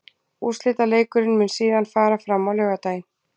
Úrslitaleikurinn mun síðan fara fram á laugardaginn.